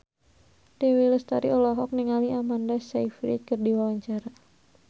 Dewi Lestari olohok ningali Amanda Sayfried keur diwawancara